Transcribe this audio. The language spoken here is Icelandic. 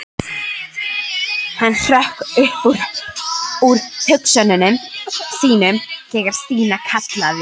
Hann hrökk upp úr hugsunum sínum þegar Stína kallaði.